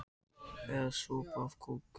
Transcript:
Eða sopa af kók?